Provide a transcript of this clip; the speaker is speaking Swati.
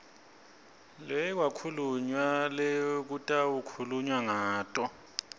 lekwakhulunywa lekutawukhulunywa ngato